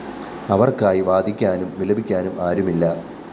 അവര്‍ക്കായി വാദിക്കാനും വിലപിക്കാനും ആരുമില്ല